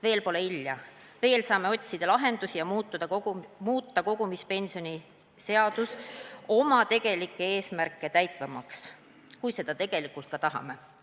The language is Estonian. Veel pole hilja, veel saame otsida lahendust ja muuta kogumispensionide seaduse oma tegelikke eesmärke täitvamaks, kui me seda ka tegelikult tahame.